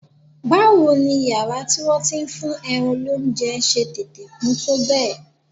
Báwo ni yàrá tí wọ́n ti ń fún ẹran lóúnjẹ ṣe tètè kún tó bẹ́ẹ̀?